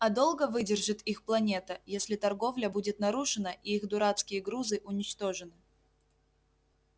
а долго выдержит их планета если торговля будет нарушена и их дурацкие грузы уничтожены